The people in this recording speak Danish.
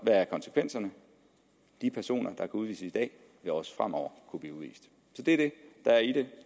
hvad er konsekvenserne de personer kan udvises i dag vil også fremover kunne blive udvist så det er det der er i det